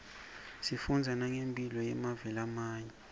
sifundza nangemphilo yemave lamanye